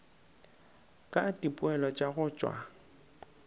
ka dipoelo tša go tšwa